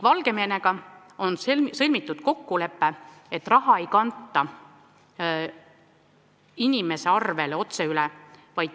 Valgevenega on sõlmitud kokkulepe, et raha ei kanta inimese arvele otse üle.